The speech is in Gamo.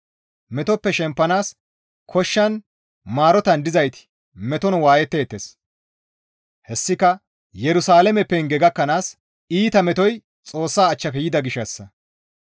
Metoppe shempanaas koshshan Maroten dizayti meton waayetteettes; hessika Yerusalaame penge gakkanaas iita metoy Xoossa achchafe yida gishshassa.